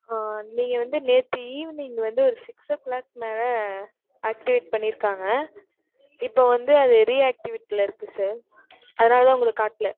ஆஹ் நீங்க வந்து, நேத்து evening வந்து, ஒரு six o clock மேல, activate பண்ணிருக்காங்க இப்ப வந்து, அது reactivate ல இருக்கு sir அதனாலதான், உங்களுக்கு காட்டல.